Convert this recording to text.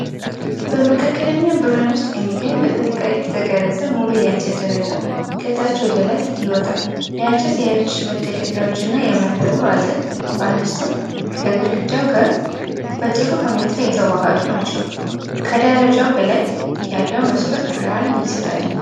በመካከለኛ ብርሃን ውስጥ የሚገኝ በጥንቃቄ የተቀረጸ ሙሉ የእንጨት ደረጃ ከታች ወደ ላይ ይወጣል። የእንጨት የእጅ መደገፊያዎች እና የመንደሩ አጥር (ባላስተር) ከግድግዳው ጋር በጥሩ ሁኔታ የተዋሃዱ ናቸው። ከደረጃው በላይ ያለው መስኮት ብርሃን ይሰጣል።